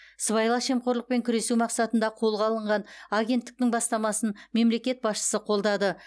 сыбайлас жемқорлықпен күресу мақсатында қолға алынған агенттіктің бастамасын мемлекет басшысы қолдады